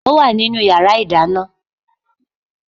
Ó wà nínú yàrá ìdáná